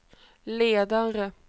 ledare